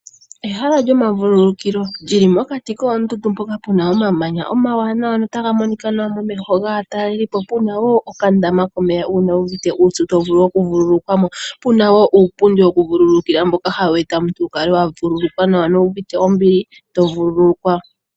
Ehala lyomavululukilo li li mokati koondundu mpoka pu na omamanya omawanwa notaga monika nawa momeho gaatalelipo, pu na wo okandama komeya uuna wu uvite uupyu to vulu okuvululukwa mo. Pu na wo uupundi wokuvululukilwa mboka hawu eta omuntu wu kale wa vululukwa nawa nowu uvite ombili to vululukwa.